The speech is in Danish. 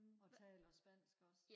og taler spansk også